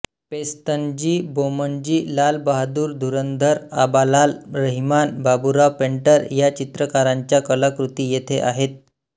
Pestonji Bomanji Lal Bahadur Dhurandhar Abalal Rahiman Baburao Painter या चित्रकारांच्या कलाकृती येथे आहेत